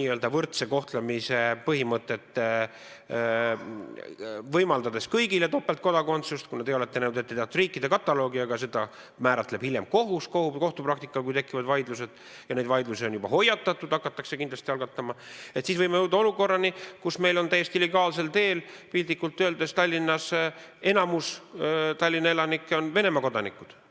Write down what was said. n-ö võrdse kohtlemise põhimõtete alusel sisustama, võimaldades kõigile topeltkodakondsust – kuna te olete nõudnud, et tahate riikide kataloogi, aga selle määrab hiljem vaidluste tekkides kohus, kohtupraktika, ja on juba hoiatatud, et neid vaidlusi hakatakse kindlasti algatama –, siis võime jõuda olukorrani, kus meil on täiesti legaalsel teel, piltlikult öeldes, enamik Tallinna elanikke Venemaa kodanikud.